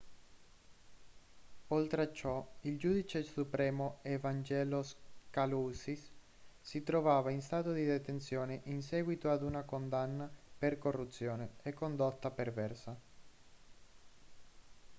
oltre a ciò il giudice supremo evangelos kalousis si trova in stato di detenzione in seguito ad una condanna per corruzione e condotta perversa